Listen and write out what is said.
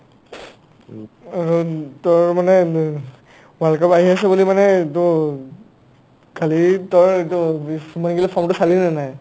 আৰু তাৰমানে world cup আহি আছে বুলি মানে দৌ খালী চালি নানাই